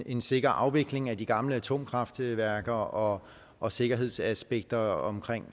en sikker afvikling af de gamle atomkraftværker og og sikkerhedsaspekter omkring